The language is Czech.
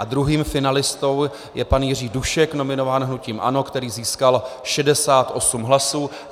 A druhým finalistou je pan Jiří Dušek, nominován hnutím ANO, který získal 68 hlasů.